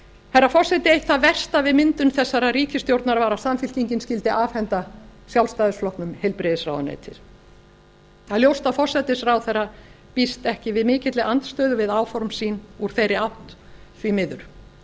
herra forseti eitt það versta við myndun þessarar ríkisstjórnar var að samfylkingin skyldi afhenda sjálfstæðisflokknum heilbrigðisráðuneytið það er ljóst að forsætisráðherra býst ekki við mikilli andstöðu við áform sín úr þeirri átt því miður